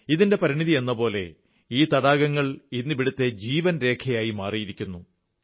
ഇതിന്റെ പരിണതിയെന്നപോലെ ഈ തടാകങ്ങൾ ഇന്ന് ഇവിടത്തെ ജീവൻരേഖ ആയി മാറിയിരിക്കുന്നു